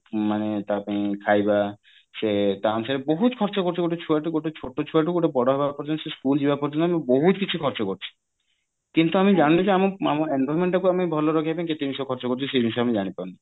ମାନେ ତା ପାଇଁ ଖାଇବା ସେ ତା ଅନୁସାରେ ବହୁତ ଖର୍ଚ୍ଚ କରୁଛୁ ଗୋଟେ ଛୁଆ ଠୁ ଗୋଟେ ଛୋଟ ଛୁଆଠୁ ଗୋଟେ ବଡ ହବା ପର୍ଯ୍ୟନ୍ତ ସେ school ଯିବା ପର୍ଯ୍ୟନ୍ତ ଆମେ ବହୁତ କିଛି ଖର୍ଚ୍ଚ କରୁଛୁ କିନ୍ତୁ ଆମେ ଜାଣିନେ ଯେ ଆମ environment ଟାକୁ ଆମେ ଭଲରେ ରଖିବା ପାଇଁ କେତେ ଜିନିଷ ଖର୍ଚ୍ଚ କରୁଛୁ ସେଇ ଜିନିଷ ଆମେ ଜାଣିପାରୁନେ